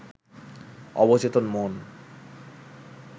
অবচেতন মন